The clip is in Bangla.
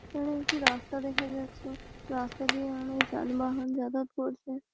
এখানে একটি রাস্তা দেখা যাচ্ছে। রাস্তা দিয়ে অনেক যানবাহন যাতায়াত করছে।